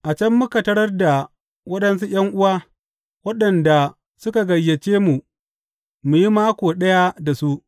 A can muka tarar da waɗansu ’yan’uwa waɗanda suka gayyaci mu mu yi mako ɗaya da su.